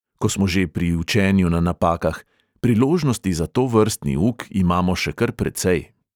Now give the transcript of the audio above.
Ko smo že pri učenju na napakah – priložnosti za tovrstni uk imamo še kar precej.